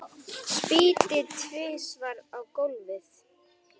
Spýti tvisvar á gólfið.